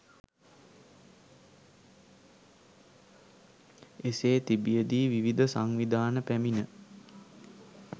එසේ තිබිය දී විවිධ සංවිධාන පැමිණ